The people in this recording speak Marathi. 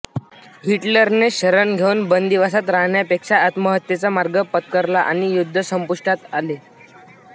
हिटलरने शरण येउन बंदिवासात राहण्यापेक्षा आत्महत्येचा मार्ग पत्करला आणि युद्ध संपुष्टात आले